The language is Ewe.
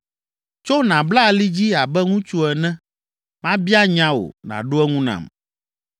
Tso nàbla ali dzi abe ŋutsu ene, mabia nya wò, nàɖo eŋu nam.